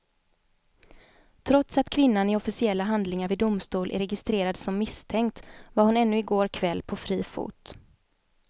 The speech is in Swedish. Trots att kvinnan i officiella handlingar vid domstol är registrerad som misstänkt var hon ännu i går kväll på fri fot.